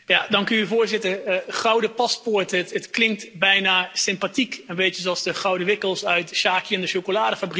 Voorzitter, gouden paspoort, het klinkt bijna sympathiek, een beetje zoals de gouden wikkels uit Sjakie en de chocoladefabriek.